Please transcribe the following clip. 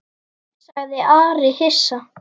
sagði Ari hissa.